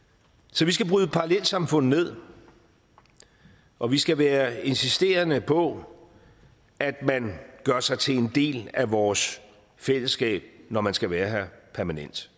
så vi skal bryde parallelsamfund ned og vi skal være insisterende på at man gør sig til en del af vores fællesskab når man skal være her permanent